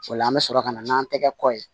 O la an bɛ sɔrɔ ka na n'an tɛgɛ kɔ ye